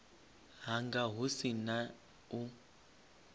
hanga hu si na u